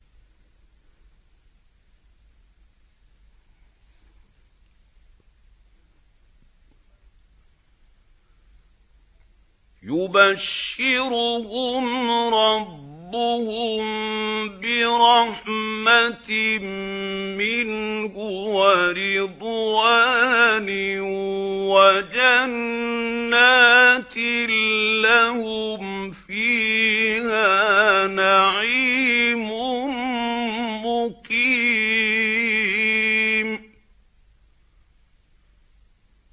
يُبَشِّرُهُمْ رَبُّهُم بِرَحْمَةٍ مِّنْهُ وَرِضْوَانٍ وَجَنَّاتٍ لَّهُمْ فِيهَا نَعِيمٌ مُّقِيمٌ